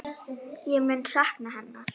Ég mun sakna hennar.